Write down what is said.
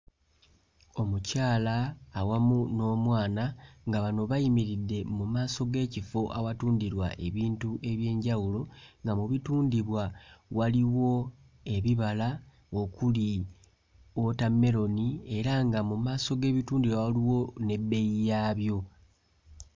Omukyala awamu n'omwana nga bano bayimiridde mu maaso g'ekifo awatundirwa ebintu eby'enjawulo nga mu bitundibwa waliwo ebibala okuli wootameroni era nga mu maaso g'ebitundibwa waliwo ebbeeyi yaabyo.